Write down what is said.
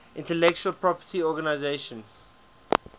intellectual property organization